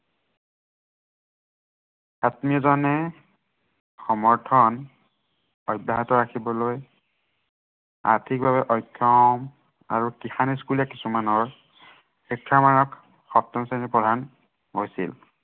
আত্মীয়জনে সমৰ্থন, অব্য়াহত ৰাখিবলৈ আৰ্থিকভাৱে অক্ষম আৰু কৃষান school ৰ কিছুমানৰ শিক্ষামানৰ সপ্তম শ্ৰেণী পঢ়া হৈছিল।